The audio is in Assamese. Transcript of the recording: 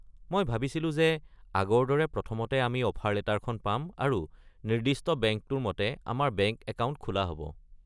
মই ভাবিছিলোঁ যে, আগৰ দৰে প্ৰথমতে আমি অফাৰ লেটাৰখন পাম আৰু নিৰ্দিষ্ট বেংকটোৰ মতে আমাৰ বেংক একাউণ্ট খোলা হ'ব।